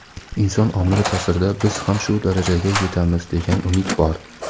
inson omili taʼsirida biz ham shu darajaga yetamiz degan umid bor.